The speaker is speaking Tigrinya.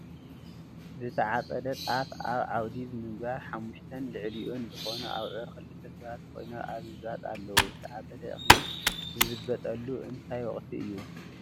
ዝተዓፀደ ጣፍ ኣብቲ ዓውዲ ብምግባር ሓምሽተን ልዕልይኡን ዝኮኑ አብዑርን ኽልተ ሰባት ኮይኖም ኣብ ምዝባጥ ኣለው። ዝተዓፀደ እክሊ ዝዝበጠሉ እንታይ ወቅቲ እዩ?